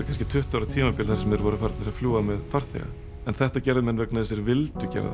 kannski tuttugu ára tímabil þar sem þeir voru farnir að fljúga með farþega en þetta gerðu menn vegna þess að þeir vildu gera